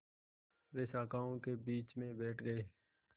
वे शाखाओं के बीच में बैठ गए